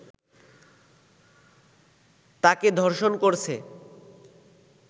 তাকে ধর্ষণ করছে